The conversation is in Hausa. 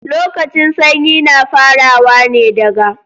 Lokacin sanyi na farawa ne daga